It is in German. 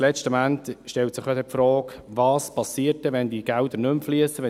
Letztlich stellt sich die Frage, was geschieht, wenn diese Mittel fehlen.